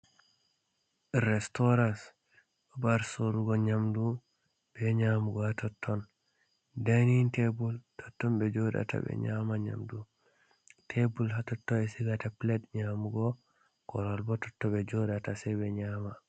Restooras، babal soorugo nyaamndu bee nyaamugo haa totton, Daaynin-teebul totton ɓe jooɗata ɓe nyaama nyaamndu, teebul haa totton sigata pilet nyaamugo Korowal boo totton ɓe jooɗata say ɓe nyaama.